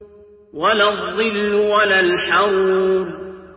وَلَا الظِّلُّ وَلَا الْحَرُورُ